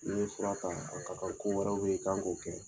N'i ye fura ta a ka kan ko wɛrɛw bɛ yen i ka kan k'o kɛ